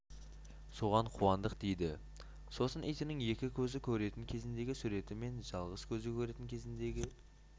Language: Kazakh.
соған қуандық дейді сосын итінің екі көзі көретін кезіндегі суреті мен жалғыз көзі көретін кезіндегі